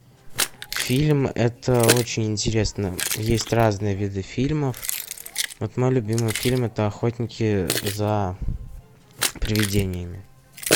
фильм это очень интересно есть разные виды фильмов вот мой любимый фильм это охотники за привидениями